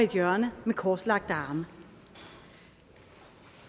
hjørne med korslagte arme